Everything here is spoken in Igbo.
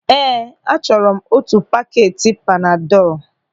Ee, achọrọ m otu pakeeti panadọl.